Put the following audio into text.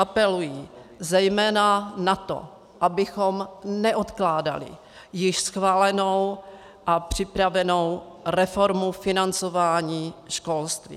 Apelují zejména na to, abychom neodkládali již schválenou a připravenou reformu financování školství.